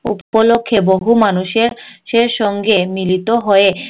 উপলক্ষে বহু মানুষের সের সঙ্গে মিলিত হয়ে